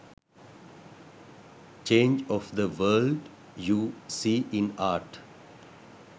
change of the world you see in art